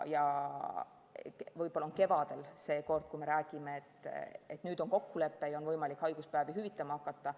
Võib-olla me kevadel seekord räägime, et nüüd on kokkulepe ja on võimalik haiguspäevi hüvitama hakata.